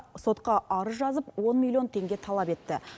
сотқа арыз жазып он миллион теңге талап етті